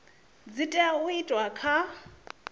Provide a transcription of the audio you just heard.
dzi tea u itwa kha